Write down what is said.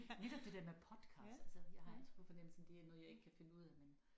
Netop det der med podcast altså jeg har altid på fornemmelsen det er noget jeg ikke kan finde ud af men